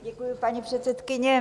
Děkuji, paní předsedkyně.